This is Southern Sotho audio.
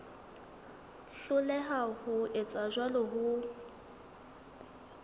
hloleha ho etsa jwalo ho